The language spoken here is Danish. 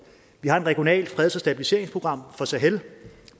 vi har et regionalt freds og stabiliseringsprogram for sahel